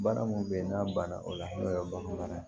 Baara min bɛ ye n'a banna o la n'o ye bagan nana ye